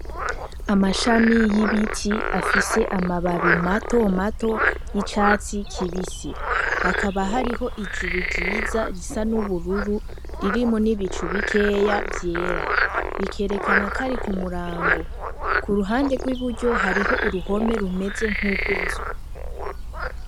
Amashami y'ibiti afise amababi matomato y'icatsi kibisi hakaba hariho ijuru ryiza risa n'ubururu ririmwo n'ibicu bikeya vyera, bikerekanako ari kumurango kuruhande rw'iburyo hariho uruhome rumeze nkugw'inzu.